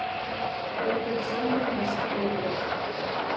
Þeir beri sjálfir mesta ábyrgð.